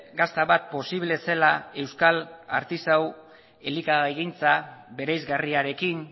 gazta bat posible zela euskal artisau elikagaigintza bereizgarriarekin